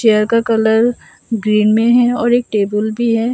Chair का colour green में है और एक टेबल भी है।